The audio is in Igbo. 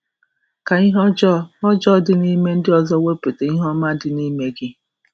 Ka ihe ọjọọ ọjọọ dị n’ime ndị ọzọ wepụta um ihe um ọma dị n’ime gị. um